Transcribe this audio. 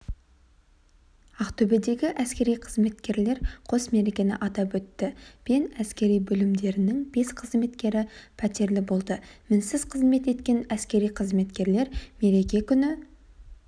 ақтөбедегі әскери қызметкерлер қос мерекені атап өтті пен әскери бөлімдерінің бес қызметкері пәтерлі болды мінсіз қызмет еткен әскери қызметкерлер мереке күні